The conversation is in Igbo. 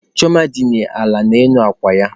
Chioma dina ala n'elu akwa ya.